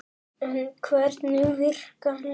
En hvernig virkar lyfið?